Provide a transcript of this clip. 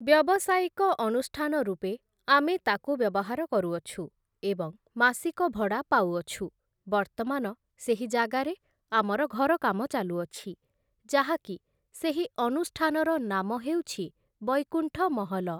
ବ୍ୟବସାୟିକ ଅନୁଷ୍ଠାନ ରୂପେ ଆମେ ତାକୁ ବ୍ୟବହାର କରୁଅଛୁ ଏବଂ ମାସିକ ଭଡ଼ା ପାଉଅଛୁ ବର୍ତ୍ତମାନ ସେହି ଯାଗାରେ ଆମର ଘର କାମ ଚାଲୁଅଛି ଯାହାକି ସେହି ଅନୁଷ୍ଠାନ ନାମ ହେଉଛି, ବୈକୁଣ୍ଠ ମହଲ ।